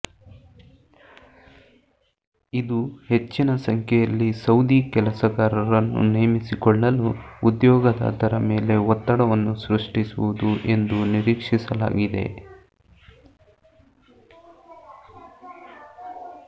ಇದು ಹೆಚ್ಚಿನ ಸಂಖ್ಯೆಯಲ್ಲಿ ಸೌದಿ ಕೆಲಸಗಾರರನ್ನು ನೇಮಿಸಿಕೊಳ್ಳಲು ಉದ್ಯೋಗದಾತರ ಮೇಲೆ ಒತ್ತಡವನ್ನು ಸೃಷ್ಟಿಸುವುದು ಎದು ನಿರೀಕ್ಷಿಸಲಾಗಿದೆ